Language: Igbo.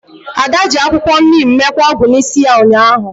Ada ji akwukwo neem mekwaa ogwu n'isi ya ụnyahụ